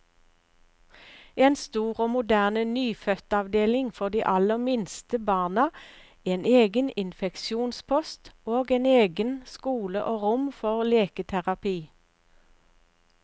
En stor og moderne nyfødtavdeling for de aller minste barna, en egen infeksjonspost, og egen skole og rom for leketerapi.